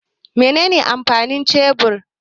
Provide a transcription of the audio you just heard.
Mene ne amfanin shebur?